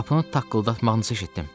Qapının taqqıldamağını eşitdim.